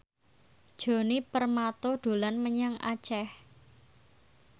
Djoni Permato dolan menyang Aceh